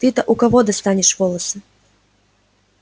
ты-то у кого достанешь волосы